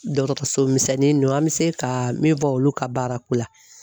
Dɔgɔtɔrɔso misɛnnin ninnu an bɛ se ka min fɔ olu ka baara ko la